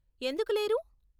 ఎందుకు లేరు?